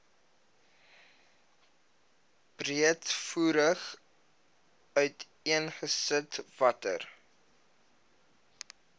breedvoerig uiteengesit watter